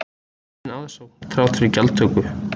Aukin aðsókn þrátt fyrir gjaldtöku